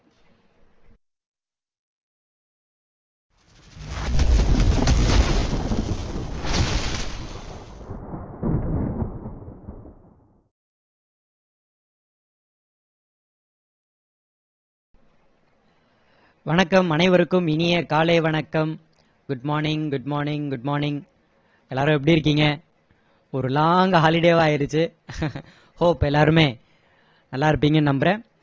வணக்கம் அனைவருக்கும் இனிய காலை வணக்கம் good morning good morning good morning எல்லாரும் எப்படி இருக்கீங்க ஒரு long holiday வா ஆயிடுச்சு hope எல்லாருமே நல்லா இருப்பீங்கன்னு நம்பறேன்